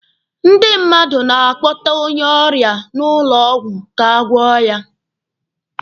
Ndị mmadụ na-akpọta onye ọrịa n'ụlọ ọgwụ ka a gwọ ya.